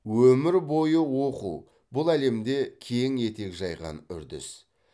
өмір бойы оқу бұл әлемде кең етек жайған үрдіс